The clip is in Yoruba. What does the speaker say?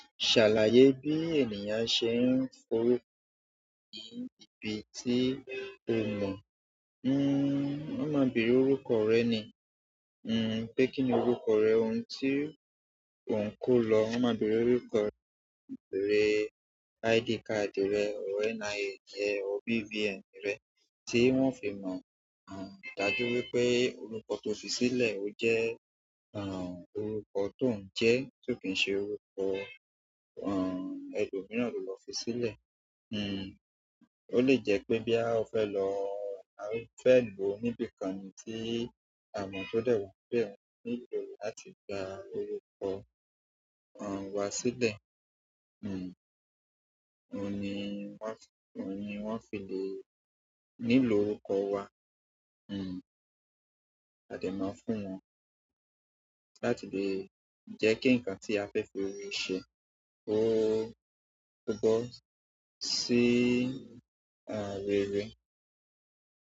Ṣàlàyé bí ènìyàn ṣe ń forúkọ ní ibi tí o ko mọ̀. Hmm, wón máa bèèrè orúkọ rẹ ni. Hmm, pé kíni orúkọ rẹ, ohun tí o ń kó lọ. Wón máa bèèrè orúkọ rẹ, ID card rẹ, ọ̀ NIANrẹ, ọ̀ BVN rẹ, tí wón fi mọ̀. Hmm, dájú wípé orúkọ tó fi sílẹ̀ o jẹ́, àn, orúkọ tó ń jẹ́ tí kò ṣe orúkọ, àn, ẹlòmíràn ló fi sílẹ̀. Hmm, o le jẹ́ pé bí à fẹ́ lọ, à fẹ́ lò ó níbi kan ni tí a mọ̀ tó dẹ́wà bẹ́ẹ̀, ní ìlú láti gba orúkọ, àn, wa sílẹ̀. Wá file. Nílò orúkọ wa. Hmm, a lè máa fún wọn láti lè jẹ́ kí nǹkan tí a fẹ́ fi rí ṣe ó tó gọ sí, àń, rere.